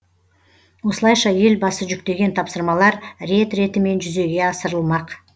осылайша елбасы жүктеген тапсырмалар рет ретімен жүзеге асырылмақ